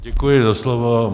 Děkuji za slovo.